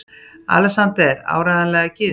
ALEXANDER: Áreiðanlega gyðingur!